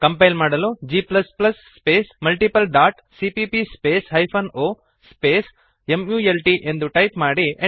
compile ಮಾಡಲು g space multiple dot CPP space hyphen o space mult ಎಂದು type ಮಾಡಿರಿ